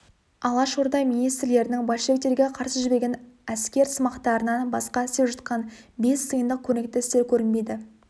алашорда министрлерінің большевиктерге қарсы жіберген әскерсымақтарынан басқа істеп жатқан бес тиындық көрнекті істер көрінбейді